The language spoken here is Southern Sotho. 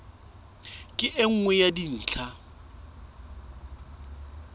ke e nngwe ya dintlha